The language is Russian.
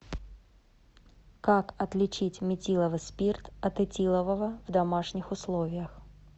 как отличить метиловый спирт от этилового в домашних условиях